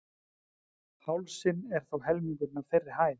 hálsinn er þó helmingurinn af þeirri hæð